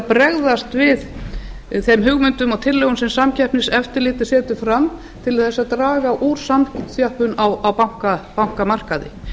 bregðast við þeim hugmyndum og tillögum sem samkeppniseftirlitið setur fram til þess að draga úr samþjöppun á bankamarkaði